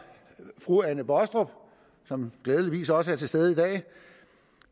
fru anne baastrup som glædeligvis også er til stede i dag